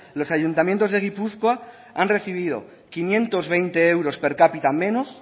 los ayuntamientos de gipuzkoa han recibido quinientos veinte euros per cápita menos